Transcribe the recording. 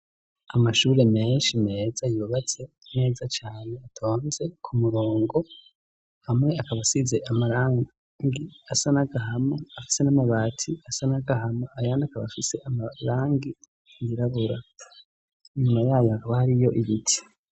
Amashure menshi meza yiubatse meza cane atonze ku murongo hamwe akabasize amarangi asa nagahama afise n'amabati asa nagahama ayandi akabafise amarangi yirabura inyuma yayo akaba hariyo ibiti.